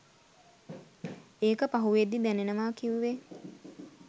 ඒක පහුවෙද්දී දැනෙනවා කිව්වේ